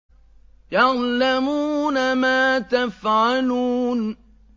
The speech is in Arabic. يَعْلَمُونَ مَا تَفْعَلُونَ